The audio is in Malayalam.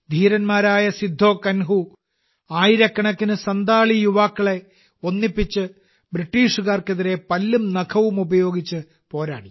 ധീരനായ സിദ്ധോ കാൻഹു ആയിരക്കണക്കിന് സൻഥാലി യുവാക്കളെ ഒന്നിപ്പിച്ച് ബ്രിട്ടീഷുകാർക്കെതിരെ പല്ലും നഖവും ഉപയോഗിച്ച് പോരാടി